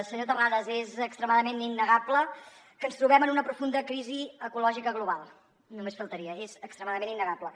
senyor terrades és extremadament innegable que ens trobem en una profunda crisi ecològica global només faltaria és extremadament innegable